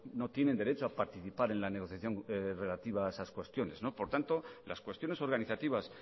no tienen derecho a participar en la negociación relativa a esas cuestiones por tanto las cuestiones organizativas